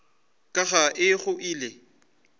ka ga e go ile